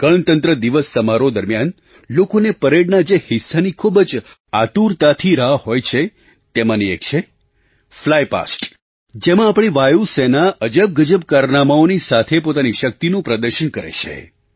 ગણતંત્ર દિવસ સમારોહ દરમિયાન લોકોને પરેડના જે હિસ્સાની ખૂબ જ આતુરતાથી રાહ હોય છે તેમાંની એક છે ફ્લાય પાસ્ટ ફ્લાય પાસ્ટ જેમાં આપણી વાયુ સેના અજબગજબ કારનામાંઓની સાથે પોતાની શક્તિનું પ્રદર્શન કરે છે